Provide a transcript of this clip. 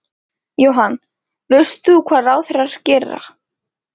Jóhann: Veist þú hvað ráðherrar gera?